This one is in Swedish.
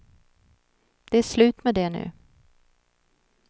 Det är slut med det nu.